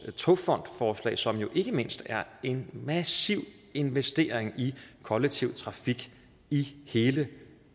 togfondsforslag som ikke mindst er en massiv investering i kollektiv trafik i hele